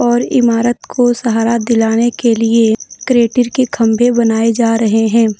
और इमारत को सहारा दिलाने के लिए के खंभे बनाए जा रहे हैं।